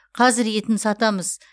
қазір етін сатамыз